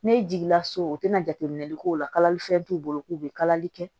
N'e jiginna so o tɛna jateminɛli k'o lali fɛn t'u bolo k'u bɛ kalali kɛ